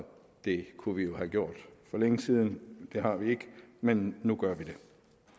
det kunne vi jo have gjort for længe siden det har vi ikke men nu gør vi det